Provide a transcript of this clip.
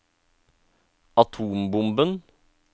atombomben